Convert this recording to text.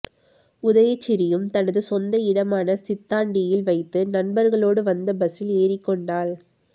உதயசிறியும் தனது சொந்த இடமான சித்தாண்டியில் வைத்து நண்பர்களோடு வந்த பஸ்ஸில் எறிக்கொண்டாள்